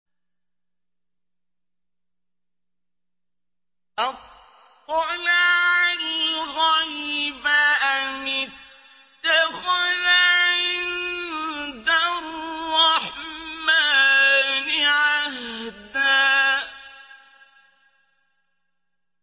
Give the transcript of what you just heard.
أَطَّلَعَ الْغَيْبَ أَمِ اتَّخَذَ عِندَ الرَّحْمَٰنِ عَهْدًا